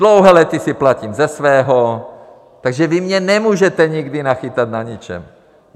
Dlouhá léta si platím ze svého, takže vy mě nemůžete nikdy nachytat na něčem.